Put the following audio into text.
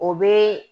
O bɛ